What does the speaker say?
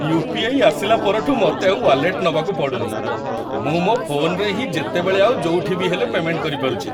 UPI. ଆସିଲା ପରଠୁ ମତେ ଆଉ ୱାଲେଟ୍ ନବାକୁ ପଡ଼ୁନି । ମୁଁ ମୋ ଫୋନ୍‌ରେ ହିଁ ଯେତେବେଳେ ଆଉ ଯୋଉଠିବି ହେଲେ ପେମେଣ୍ଟ କରିପାରୁଚି ।